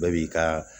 Bɛɛ b'i ka